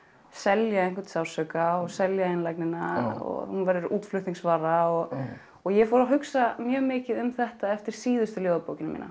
selja einhvern sársauka og selja einlægnina og hún verður útflutningsvara og ég fór að hugsa mjög mikið um þetta eftir síðustu ljóðabókina